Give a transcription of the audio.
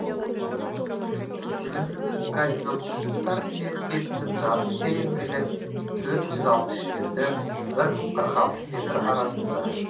өнімді горизонттар бетінің жатыс тереңдігі төрт жүз алпыс жеті бір мың қырық алты метр арасында